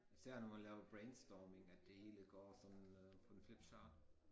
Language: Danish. Især når man laver brainstorming at de hele går sådan øh på en flip chart